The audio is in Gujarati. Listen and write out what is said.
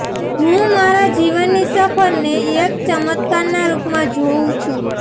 હું મારા જીવનની સફરને એક ચમત્કારના રૂપમાં જોઉં છું